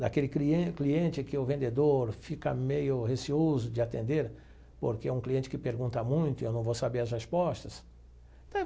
Daquele clien cliente que o vendedor fica meio receoso de atender porque é um cliente que pergunta muito e eu não vou saber as respostas.